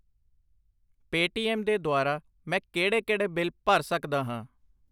Paytm ਦੇ ਦੁਵਾਰਾ ਮੈਂ ਕਿਹੜੇ ਕਿਹੜੇ ਬਿੱਲ ਭਰ ਸੱਕਦਾ ਹਾਂ?